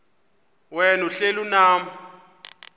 wena uhlel unam